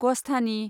ग'स्थानि